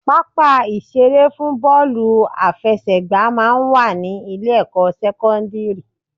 Pápá ìṣeré fún bọ́ọ̀lù àfẹsẹ̀gbà máa ń wà ní Ilé-ẹ̀kọ́ sẹ́kọ́ńdìrì